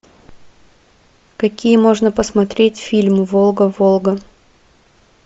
какие можно посмотреть фильмы волга волга